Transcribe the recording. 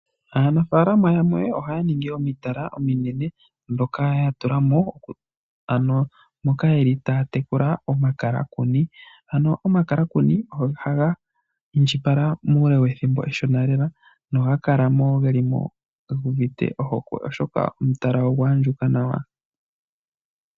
Aanafalama yamwe ohaya ningi omitala ominene moka ya tulamo ano moka yeli taya tekula omakalakuni. Omakalakuni ohaga indjipala muule wethimbo efupi lela nohaga kala gelimo guuvite ohokwe oshoka omutala ogwa andjuka nawa.